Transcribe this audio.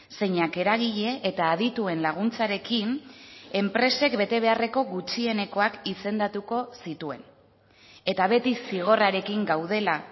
zeinak eragile eta adituen laguntzarekin enpresek betebeharreko gutxienekoak izendatuko zituen eta beti zigorrarekin gaudela